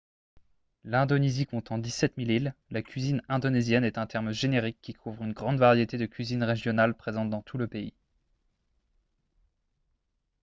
l'indonésie comptant 17 000 îles la cuisine indonésienne est un terme générique qui couvre une grande variété de cuisines régionales présentes dans tout le pays